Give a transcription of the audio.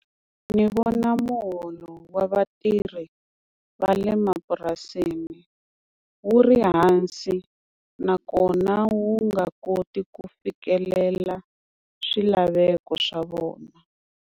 Ni vona muholo wa vatirhi va le mapurasini wu ri hansi, nakona wu nga koti ku fikelela swilaveko swa vona.